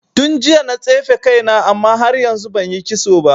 Tun jiya na tsefe kaina amma har yanzu banyi kitso ba.